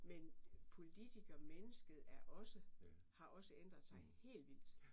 Men politikermennesket er også har også ændret sig helt vildt